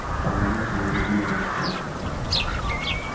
вполне заурядная раскладка